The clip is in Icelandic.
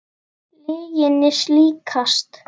Lyginni líkast.